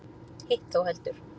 Hitt þó heldur.